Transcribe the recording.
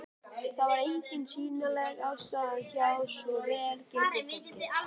Það var engin sýnileg ástæða hjá svo vel gerðu fólki.